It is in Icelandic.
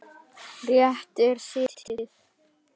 Réttinum er slitið.